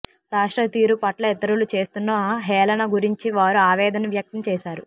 రాష్ట్ర తీరు పట్ల ఇతరులు చేస్తున్న హేళన గురించి వారు ఆవేదన వ్యక్తం చేశారు